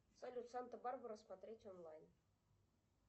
салют санта барбара смотреть онлайн